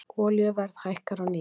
Olíuverð hækkar á ný